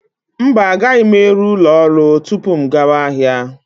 Mba, agaghị m eru ụlọ ọrụ tupu m gawa ahịa.